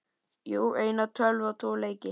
Jú, eina tölvu og tvo leiki.